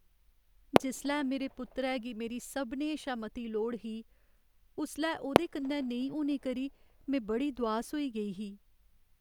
जिसलै मेरे पुत्तरै गी मेरी सभनें शा मती लोड़ ही उसलै ओह्दे कन्नै नेईं होने करी में बड़ी दुआस होई गेई ही।